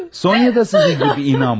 Sonya da sizin kimi inanmadı.